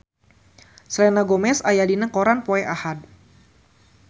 Selena Gomez aya dina koran poe Ahad